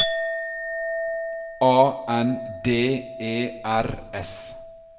A N D E R S